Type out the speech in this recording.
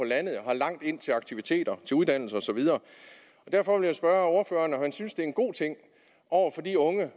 landet og har langt ind til aktiviteter til uddannelse og så videre og derfor vil jeg spørge ordføreren om han synes det er en god ting over for de unge